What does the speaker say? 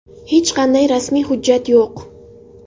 Hech qanday rasmiy hujjat yo‘q.